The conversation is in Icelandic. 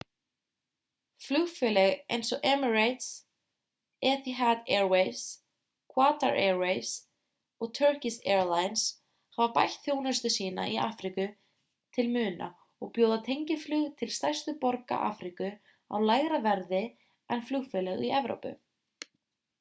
flugfélög eins og emirates etihad airways qatar airways og turkish airlines hafa bætt þjónustu sína í afríku til muna og bjóða tengiflug til stærstu borga afríku á lægra verði en flugfélög í evrópu